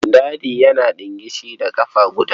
Dadi yana yana ɗingishi da ƙafa guda.